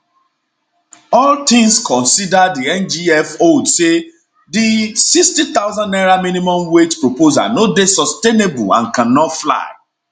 all tins considered di ngf holds say di 60000 naira minimum wage proposal no dey sustainable and can not fly